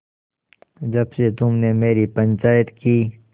जब से तुमने मेरी पंचायत की